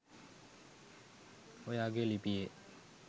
ඔයාගේ ලිපියේ.